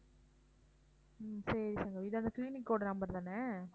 ஹம் சரி சங்கவி இது அந்த clinic ஓட number தானே